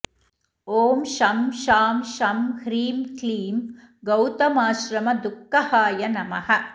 ॐ शं शां षं ह्रीं क्लीं गौतमाश्रमदुःखहाय नमः